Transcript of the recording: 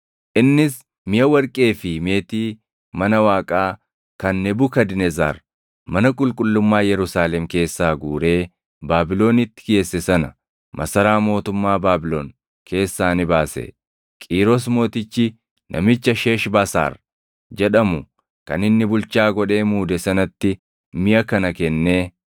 Innis miʼa warqee fi meetii mana Waaqaa kan Nebukadnezar mana qulqullummaa Yerusaalem keessaa guuree Baabilonitti geesse sana masaraa mootummaa Baabilon keessaa ni baase. Qiiros Mootichi namicha Sheeshbasaar jedhamu kan inni bulchaa godhee muude sanatti miʼa kana kennee